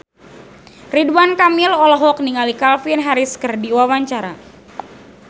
Ridwan Kamil olohok ningali Calvin Harris keur diwawancara